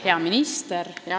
Hea minister!